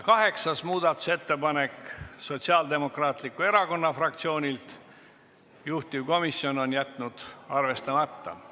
Kaheksas muudatusettepanek, Sotsiaaldemokraatliku Erakonna fraktsioonilt, juhtivkomisjon on jätnud arvestamata.